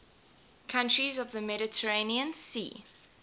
countries of the mediterranean sea